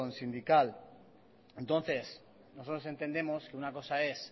sindical entonces nosotros entendemos que una cosa es